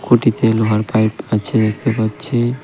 খুঁটিতে লোহার পাইপ আছে দেখতে পাচ্ছি .